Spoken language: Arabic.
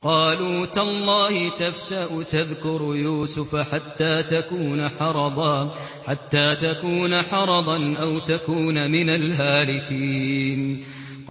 قَالُوا تَاللَّهِ تَفْتَأُ تَذْكُرُ يُوسُفَ حَتَّىٰ تَكُونَ حَرَضًا أَوْ تَكُونَ مِنَ الْهَالِكِينَ